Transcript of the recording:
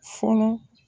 Fɔlɔ